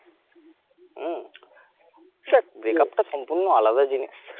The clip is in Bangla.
হম দেখ break up টা সম্পূর্ণ আলাদা জিনিস